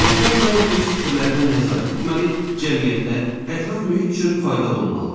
İnsan daim öz fikirlərinə nəzarət etməli, cəmiyyətə, ətraf mühit üçün faydalı olmalıdır.